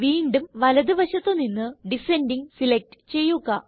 വീണ്ടും വലത് വശത്ത് നിന്ന് ഡിസെൻഡിംഗ് സിലക്റ്റ് ചെയ്യുക